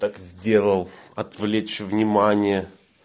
так сделал отвлечь внимание